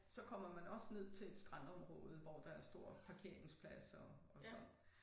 Så kommer man også ned til et strandområde hvor der er stor parkeringspladser og så